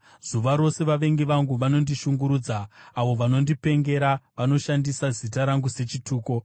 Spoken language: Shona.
Zuva rose vavengi vangu vanondishungurudza; avo vanondipengera vanoshandisa zita rangu sechituko.